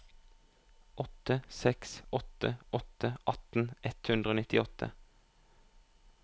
åtte seks åtte åtte atten ett hundre og nittiåtte